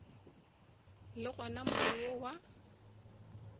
le gona more wo wa